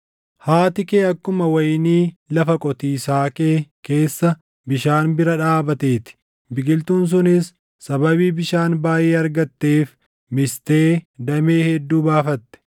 “ ‘Haati kee akkuma wayinii lafa qotiisaa kee keessa bishaan bira dhaabatee ti; biqiltuun sunis sababii bishaan baayʼee argatteef mistee damee hedduu baaffatte.